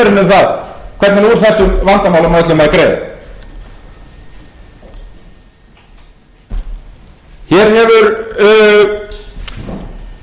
það hvernig úr þessum vandamálum á öllum að greiða hér hefur í umræðum um efnahagsmálin verið rætt um að